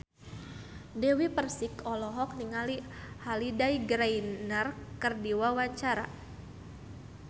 Dewi Persik olohok ningali Holliday Grainger keur diwawancara